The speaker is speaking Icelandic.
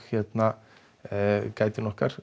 leiðsögumanninn okkar